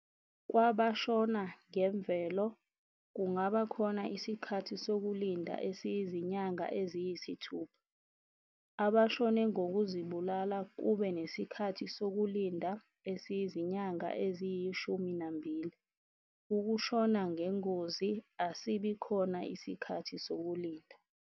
Kwabashona ngemvelo, kungaba khona isikhathi sokulinda esiyizinyanga eziyisithupha. Abashone ngokuzibulala, kube nesikhathi sokulinda esiyizinyanga eziyishumi nambili. Ukushona ngengozi, asibi khona isikhathi sokulinda.